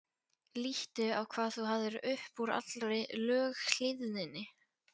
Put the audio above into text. Líttu á hvað þú hafðir upp úr allri löghlýðninni.